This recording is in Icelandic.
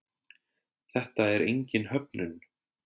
Þetta er engin höfnun.